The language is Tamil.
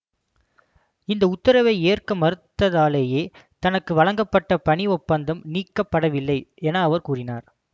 இந்த உத்தரவை ஏற்க மறுத்ததாலேயே தனக்கு வழங்கப்பட்ட பணி ஒப்பந்தம் நீக்கப்படவில்லை என அவர் கூறினார்